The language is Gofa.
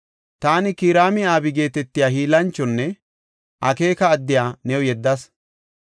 “Taani Kiraam-Abi geetetiya hiillanchonne akeeka addiya new yeddas.